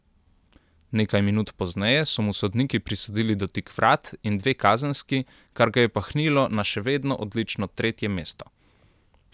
Nekaj minut pozneje so mu sodniki prisodili dotik vrat in dve kazenski, kar ga je pahnilo na še vedno odlično tretje mesto.